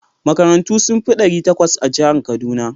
Makarantu sun fi ɗari takwas a jihar Kaduna.